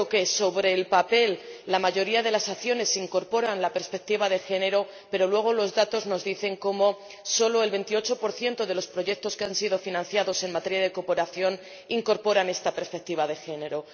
Es cierto que sobre el papel, la mayoría de las acciones incorporan la perspectiva de género, pero luego los datos nos dicen como solo el 28 de los proyectos que han sido financiados en materia de cooperación incorporan esta perspectiva de género.